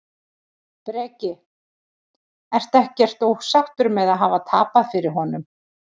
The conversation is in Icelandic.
Breki: Ertu ekkert ósáttur með að hafa tapað fyrir honum?